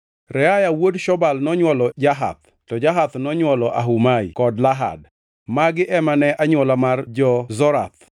Reaya wuod Shobal nonywolo Jahath, to Jahath nonywolo Ahumai kod Lahad. Magi ema ne anywola mar jo-Zorath.